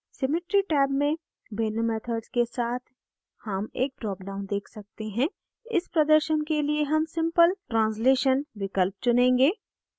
symmetry tab में भिन्न methods के साथ हम एक dropdown देख सकते हैं इस प्रदर्शन के लिए हम simple translation विकल्प चुनेंगे